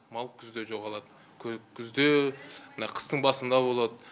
мал күзде күзде мына қыстың басында болады